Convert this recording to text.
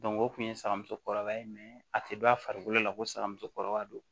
o kun ye saga musokɔrɔba ye a tɛ bɔ a farikolo la ko saga musokɔrɔba do